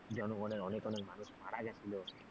জনগণের অনেক অনেক মানুষ মারা গেছিল,